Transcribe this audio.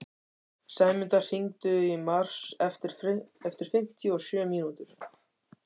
Sæmunda, hringdu í Mars eftir fimmtíu og sjö mínútur.